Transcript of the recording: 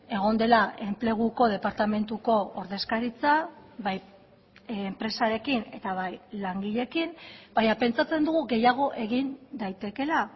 egon dela enpleguko departamentuko ordezkaritza bai enpresarekin eta bai langileekin baina pentsatzen dugu gehiago egin daitekeela